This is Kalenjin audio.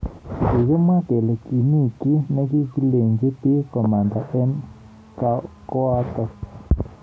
Kikimwa kele kimi ki nekikilech bik komanda eng koatak.